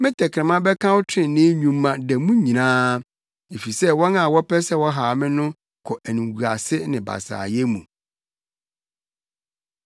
Me tɛkrɛma bɛka wo trenee nnwuma da mu nyinaa, efisɛ wɔn a wɔpɛ sɛ wɔhaw me no kɔ animguase ne basaayɛ mu.